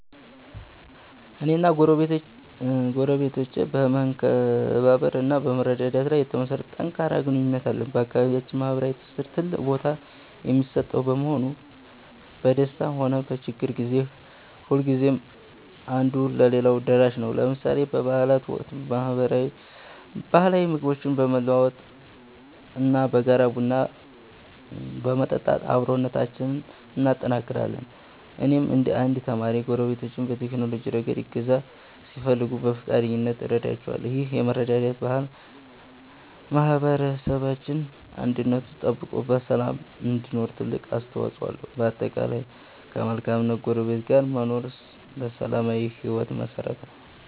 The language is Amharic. እኔና ጎረቤቶቼ በመከባበር እና በመረዳዳት ላይ የተመሠረተ ጠንካራ ግንኙነት አለን። በአካባቢያችን ማኅበራዊ ትስስር ትልቅ ቦታ የሚሰጠው በመሆኑ፣ በደስታም ሆነ በችግር ጊዜ ሁልጊዜም አንዱ ለሌላው ደራሽ ነው። ለምሳሌ በበዓላት ወቅት ባህላዊ ምግቦችን በመለዋወጥ እና በጋራ ቡና በመጠጣት አብሮነታችንን እናጠናክራለን። እኔም እንደ አንድ ተማሪ፣ ጎረቤቶቼ በቴክኖሎጂ ረገድ እገዛ ሲፈልጉ በፈቃደኝነት እረዳቸዋለሁ። ይህ የመረዳዳት ባህል ማኅበረሰባችን አንድነቱ ተጠብቆ በሰላም እንዲኖር ትልቅ አስተዋፅኦ አለው። በጠቅላላው፣ ከመልካም ጎረቤት ጋር መኖር ለሰላማዊ ሕይወት መሠረት ነው።